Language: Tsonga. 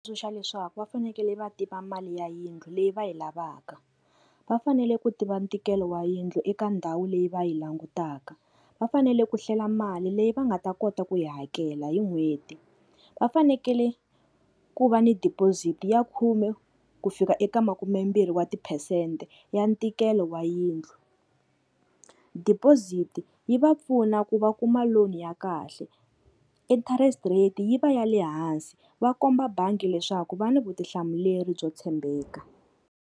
Tsundzuxa leswaku va fanekele va tiva mali ya yindlu leyi va yi lavaka, va fanele ku tiva ntikelo wa yindlu eka ndhawu leyi va yi langutaka. Va fanele ku hlela mali leyi va nga ta kota ku yi hakela hi n'hweti. Va fanekele ku va ni deposit ya khume ku fika eka makumembirhi wa tiphesente ya ntikelo wa yindlu, deposit yi va pfuna ku va kuma loan ya kahle interest rate yi va ya le hansi va komba bangi leswaku va ni vutihlamuleri byo tshembeka.